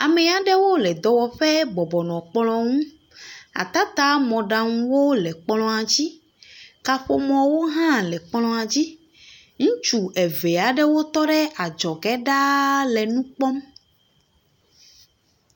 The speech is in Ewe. Ame aɖewo nɔ dɔwɔƒe bɔbɔ nɔ kplɔ̃ ŋu. Atatamɔɖaŋuwo le kplɔ̃a dzi. Kaƒomɔwo hã le kplɔ̃a dzi. Ŋutsu eve aɖewo tɔ ɖe adzɔge ɖaa le nu kpɔm.